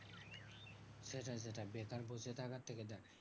সেটাই সেটাই বেকার বসে থাকার থেকে দেখ